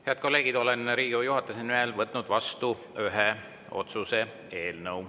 Head kolleegid, olen Riigikogu juhatuse nimel võtnud vastu ühe otsuse eelnõu.